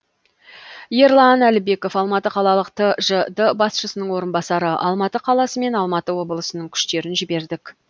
ерлан әлібеков алматы қалалық тжд басшысының орынбасары алматы қаласы мен алматы облысының күштерін жібердік